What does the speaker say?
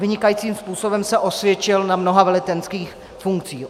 Vynikajícím způsobem se osvědčil na mnoha velitelských funkcích.